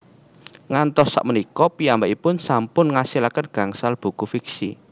Ngantos sak punika piyambakipun sampun ngasilaken gangsal buku fiksi